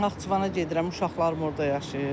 Naxçıvana gedirəm, uşaqlarım orada yaşayır.